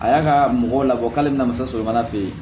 A y'a ka mɔgɔw labɔ k'ale bɛna se sɔgɔmada fɛ ye